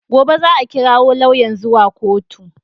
Gobe za a kirawo lauyan zuwa kotu